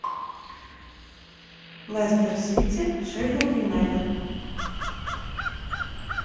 лестер сити шеффилд юнайтед